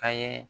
A ye